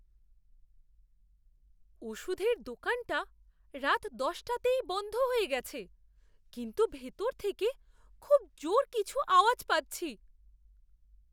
ওষুধের দোকানটা রাত দশ টাতেই বন্ধ হয়ে গেছে, কিন্তু ভেতর থেকে খুব জোর কিছু আওয়াজ পাচ্ছি।